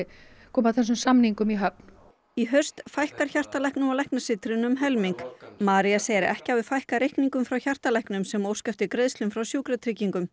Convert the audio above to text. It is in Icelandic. koma þessum samningum í höfn í haust fækkar hjartalæknum á læknasetrinu um helming María segir að ekki hafi fækkað reikningum frá hjartalæknum sem óska eftir greiðslum frá Sjúkratryggingum